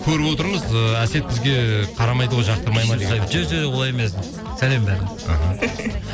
көріп отырмыз ыыы әсет бізге қарамайды ғой жоқ жоқ олай емес сәлем іхі